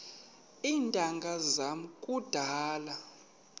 iintanga zam kudala